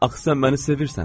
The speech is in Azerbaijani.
Axı sən məni sevirsən?